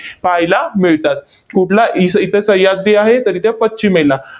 पाहायला मिळतात. कुठला? इस इथे सह्याद्री आहे, तर इथे पश्चिमेला.